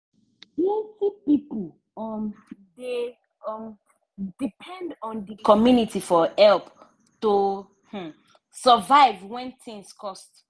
plenti pipo um dey um depend on d community for help to um survive when tins cost.